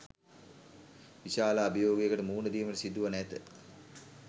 විශාල අභියෝගයකට මුහුණ දීමට සිදුවනු ඇත